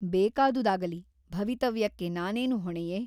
ಬೇಕಾದುದಾಗಲಿ ಭವಿತವ್ಯಕ್ಕೆ ನಾನೇನು ಹೊಣೆಯೆ ?